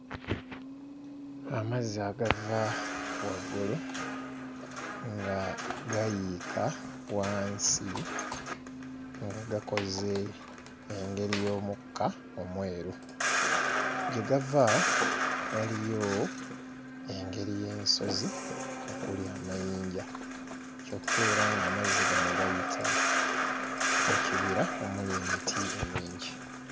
Amazzi agava waggulu nga gayiika wansi nga gakoze engeri y'omukka omweru. Gye gava waliyo engeri y'ensozi okuli amayinja kyokka era ng'amazzi gano gayita mu kibira omuli emiti emingi.